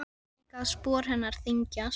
Sé líka að spor hennar þyngjast.